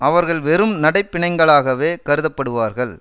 அவர்கள் வெறும் நடைப்பிணங்களாகவே கருதப்படுவார்கள்